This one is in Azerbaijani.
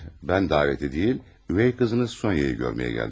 Hayır, mən davəti deyil, ögey qızınız Sonya'yı görməyə gəldim.